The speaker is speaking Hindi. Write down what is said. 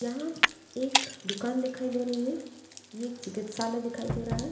यहाँ एक दुकान दिखाई दे रही है ये चिकित्सालय दिखाई दे रहा है।